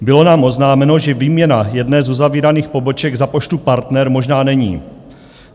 Bylo nám oznámeno, že výměna jedné z uzavíraných poboček za Poštu Partner možná není.